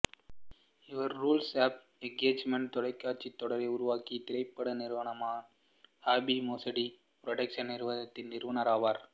our rules of engagement தொலைக்காட்சித் தொடரை உருவாக்கிய திரைப்பட நிறுவனமான ஹேப்பி மேடிசன் புரடெக்சன்ஸ் நிறுவனத்தின் நிறுவனர் ஆவார்